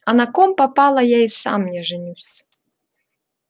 а на ком попало я и сам не женюсь